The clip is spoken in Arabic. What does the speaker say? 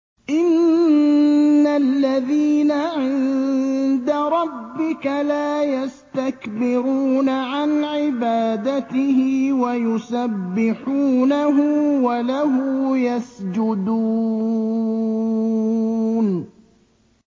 إِنَّ الَّذِينَ عِندَ رَبِّكَ لَا يَسْتَكْبِرُونَ عَنْ عِبَادَتِهِ وَيُسَبِّحُونَهُ وَلَهُ يَسْجُدُونَ ۩